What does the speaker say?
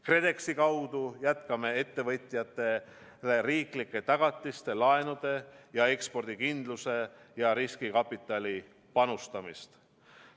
KredExi kaudu jätkame ettevõtjatele riiklike tagatiste, laenude ja ekspordikindlustuse, samuti riskikapitali panustamist.